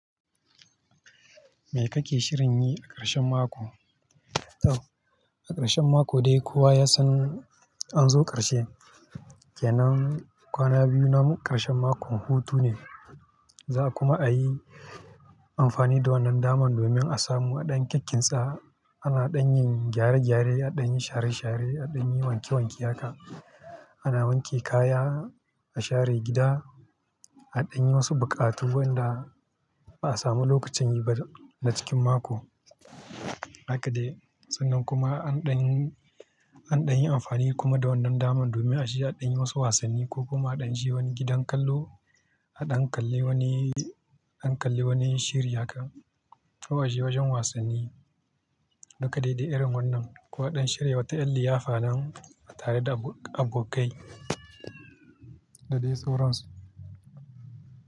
Me kake shirin yi a ƙarshen mako? To a ƙarshen mako dai kowa ya san an zo ƙarshe. Kenan kwana biyu na ƙarshen mako hutu ne. Za ku ma a yi amfani da wannan daman domin a samu adan kikkitsa. Ana ɗanyin gyare-gyare, adayi share-share, adan yi wanke-wanke haka. Ana wanke kaya, a share gida, a ɗanyi wasu buƙatu wanda ba a samu lokacin yi ba da cikin mako. Haka dai. Sannan kuma an ɗanyi, an ɗanyi amfani kuma da wannan daman domin a aje aɗanyi wasu wasanni ko kuma a ɗan je wani gidan kallo, a ɗan kalli wani, an kalli wani shiri haka. Ko aje wajen wasanni. Haka dai da irin wannan. Ko a ɗan shirya wata ƴar liyafa nan tare da abokai da dai sauransu.